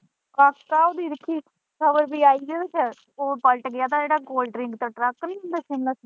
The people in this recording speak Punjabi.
ਕੱਲ੍ਹ ਦੀ ਦਿੱਖੀ ਖਬਰ ਵੀ ਆਈ ਗਈ ਕ ਉਹ ਪਲਟ ਗਿਆ ਤੇ ਉਹ ਕੋਲਡ ਡ੍ਰਿੰਕ ਦਾ ਟਰੱਕ ਨਹੀਂ ਹੁੰਦਾ ਸੁਮੋ।